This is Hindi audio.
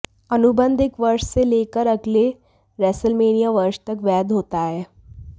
अनुबंध एक वर्ष से ले कर अगले रेसलमेनिया वर्ष तक वैध होता है